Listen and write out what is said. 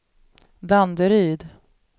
Danderyd